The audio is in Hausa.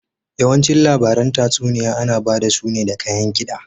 Yawanci labaran tatsuniya ana bada su ne da kayan kida.